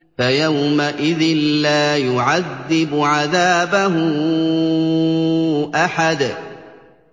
فَيَوْمَئِذٍ لَّا يُعَذِّبُ عَذَابَهُ أَحَدٌ